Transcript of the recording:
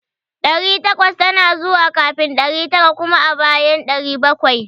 Ɗari takwas tana zuwa kafin ɗari tara kuma a bayan ɗari bakwai